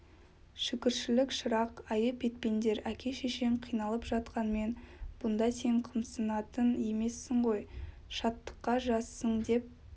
шүкірлік шырақ айып етпеңдер әке-шешең қиналып жатқанмен бұнда сен қымсынатын емессің ғой шаттыққа жазсын деп